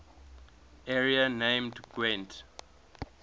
area named gwent